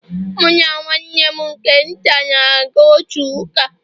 Mụ na nwanne m nke nta, na-aga otu ụka